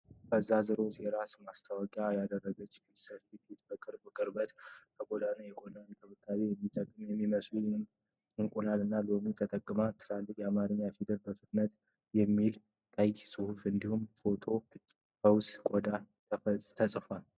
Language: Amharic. ፈዛዛ ሮዝ የራስ ማሰሪያ ያደረገች ሴት ፊት በቅርብ ቀርቧል። ከጎኗ ለቆዳ እንክብካቤ የሚጠቅሙ የሚመስሉ እንቁላሎች እና ሎሚዎች ተቀምጠዋል። ትልልቅ የአማርኛ ፊደላት 'በፍጥነት !!!' የሚለው ቀይ ጽሑፍ እንዲሁም 'ቶሎ ፈውሱ ቆዳ' ተጽፈዋል።